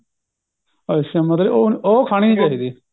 ਅੱਛਾ ਮਤਲਬ ਉਹ ਉਹ ਖਾਣੀ ਨਹੀਂ ਚਾਹੀਦੀ